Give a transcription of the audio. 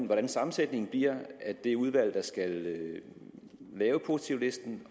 hvordan sammensætningen af det udvalg der skal lave positivlisten